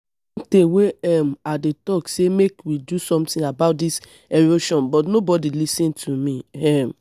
e don tey wey um i dey talk say make we do something about dis erosion but nobody lis ten to me um